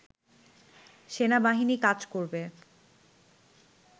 সেনাবাহিনী কাজ করবে